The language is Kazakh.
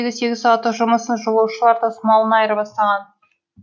сегіз сағаттық жұмысын жолаушылар тасымалына айырбастаған